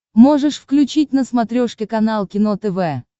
можешь включить на смотрешке канал кино тв